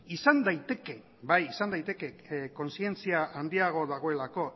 izan daiteke kontzientzia handiagoa dagoelako